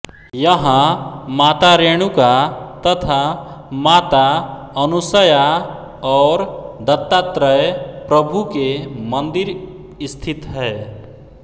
यहां माता रेणुका तथा माता अनुसया और दत्तात्रय प्रभू के मंदिर स्थित हैं